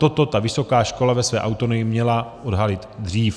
Toto ta vysoká škola ve své autonomii měla odhalit dřív.